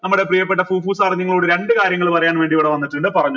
നമ്മടെ പ്രിയപ്പെട്ട sir നിങ്ങളോട് രണ്ടു കാര്യങ്ങൾ പറയാൻ വേണ്ടി ഇവിടെ വന്നിട്ടുണ്ട് പറഞ്ഞോളൂ